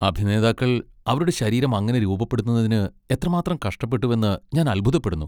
അഭിനേതാക്കൾ, അവരുടെ ശരീരം അങ്ങനെ രൂപപ്പെടുത്തുന്നതിന് എത്രമാത്രം കഷ്ടപ്പെട്ടുവെന്ന് ഞാൻ അത്ഭുതപ്പെടുന്നു.